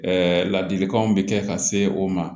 ladilikanw bɛ kɛ ka se o ma